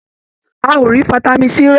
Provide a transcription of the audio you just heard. A ò rí vitamin C rà.